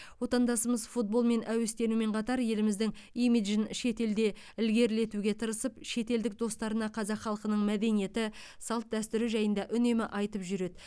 отандасымыз футболмен әуестенумен қатар еліміздің имиджін шетелде ілгерілетуге тырысып шетелдік достарына қазақ халқының мәдениеті салт дәстүрі жайында үнемі айтып жүреді